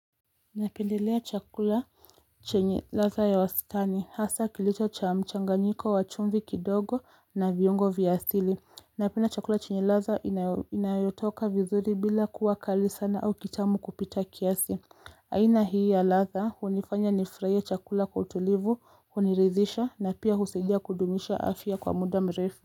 Napendelea chakula chenye radha ya wastani hasa kilicho cha mchanganyiko wa chumvi kidogo na viungo vya asili Napenda chakula chenye radha inayotoka vizuri bila kuwa kali sana au kitamu kupita kiasi aina hii ya radha unifanya nifurahie chakula kwa utulivu uniridhisha na pia husaidia kudumisha afya kwa muda mrefu.